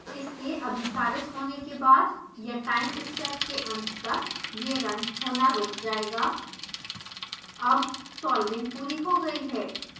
इसके अभिसारित होने के बाद या टाइम स्टेप के अंत तक यह रन होना रुक जायेगा अब सॉल्विंग पूरी हो गयी है